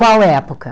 Qual época?